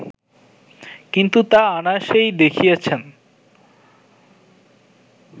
কিন্তু তা অনায়াসেই দেখিয়েছেন